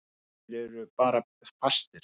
Þeir eru bara fastir.